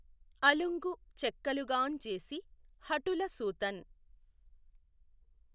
అలుఁగు చెక్కలుగాఁ జేసి హఠుల సూతఁ